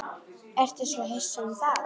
Ertu svo viss um það?